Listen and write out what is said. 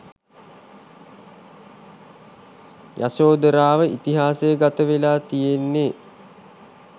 යශෝධරාව ඉතිහාස ගත වෙලා තියෙන්නේ.